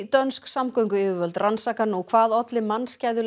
dönsk samgönguyfirvöld rannsaka nú hvað olli mannskæðu